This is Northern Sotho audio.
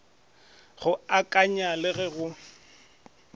go akanywa le ge go